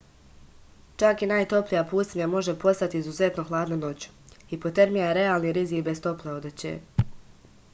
čak i najtoplija pustinja može postati izuzetno hladna noću hipotermija je realni rizik bez tople odeće